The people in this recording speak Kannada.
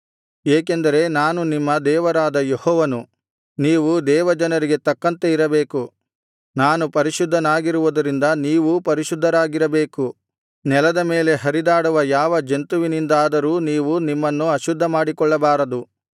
ಏಕೆಂದರೆ ನಾನು ನಿಮ್ಮ ದೇವರಾದ ಯೆಹೋವನು ನೀವು ದೇವಜನರಿಗೆ ತಕ್ಕಂತೆ ಇರಬೇಕು ನಾನು ಪರಿಶುದ್ಧನಾಗಿರುವುದರಿಂದ ನೀವೂ ಪರಿಶುದ್ಧರಾಗಿರಬೇಕು ನೆಲದ ಮೇಲೆ ಹರಿದಾಡುವ ಯಾವ ಜಂತುವಿನಿಂದಾದರೂ ನೀವು ನಿಮ್ಮನ್ನು ಅಶುದ್ಧಮಾಡಿಕೊಳ್ಳಬಾರದು